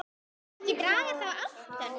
Má ekki draga þá ályktun?